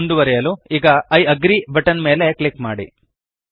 ಮುಂದುವರೆಸಲು ಈಗ I agree button ಮೇಲೆ ಕ್ಲಿಕ್ ಮಾಡಿ